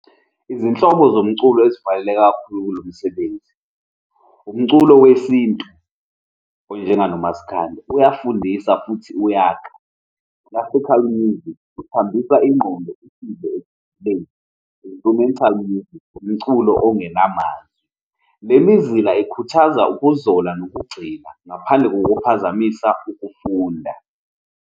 Izinhlobo zomculo ezifaneleke kakhulu kulo msebenzi, umculo wesintu, onjenganoMaskandi, uyafundisa futhi uyakha, uyafitha kokuningi, uthambisa ingqondo instrumental music, umculo ongenamazwi. Le mizila ikhuthaza ukuzola nokugxila ngaphandle kokuphazamisa ukufunda.